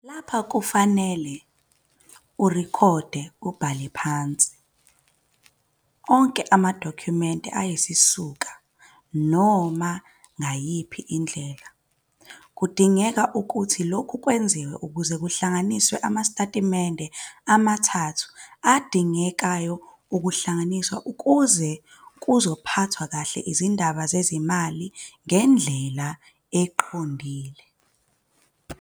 Lapha kufanele urikhode, ubhale phansi, onke amadokhumente ayisisuko noma ngayiphi indlela. Kudingeka ukuthi lokhu kwenziwe ukuze kuzohlanganiswe amastetimende amathathu adingekayo ukuhlanganiswe ukuze uzokwazi ukuphatha izindaba zezimali ngendlela eqondile.